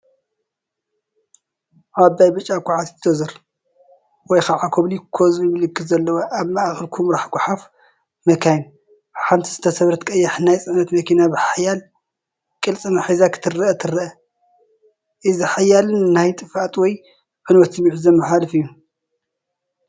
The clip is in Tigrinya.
ዓባይ ብጫ ኳዕቲት ዶዘር (ኮቤልኮ ዝብል ምልክት ዘለዋ) ኣብ ማእከል ኵምራ ጓሓፍ መካይን፡ ንሓንቲ ዝተሰብረት ቀያሕ ናይ ጽዕነት መኪና ብሓያል ቅልጽማ ሒዛ ክትረአ ትረአ። እዚ ሓያልን ናይ ጥፍኣት ወይ ዕንወት ስምዒት ዘመሓላልፍ እዩ።